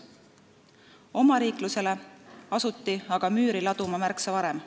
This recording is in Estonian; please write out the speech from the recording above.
Omariiklusele asuti aga müüri laduma märksa varem.